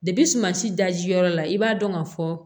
dajiyɔrɔ la i b'a dɔn ka fɔ